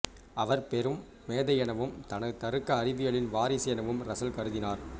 அவர பெரும் மேதை எனவும் தனது தருக்க அறிவியலின் வாரிசு எனவும் ரசல் கருதினார்